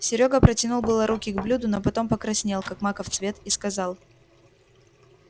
серёга протянул было руки к блюду но потом покраснел как маков цвет и сказал